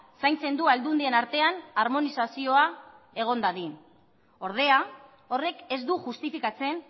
zaintzen du aldundien artean armonizazioa egon dadin ordea horrek ez du justifikatzen